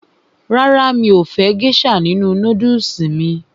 Rárá, mi ò fẹ́ gésà nínu nódùsù mí